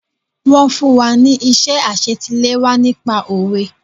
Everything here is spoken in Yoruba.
Wọ́n fún wa ní iṣẹ́ àsetiléwá nípa Òwe.